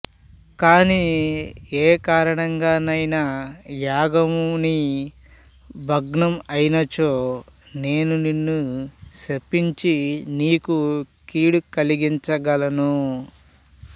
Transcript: కాని ఏకారణంగా నైనా యాగము నీ భగ్నం అయినచో నేను నిన్ను శపించి నీకుకీడు కలిగించగలను